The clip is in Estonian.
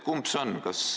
Kumb see siin nüüd on?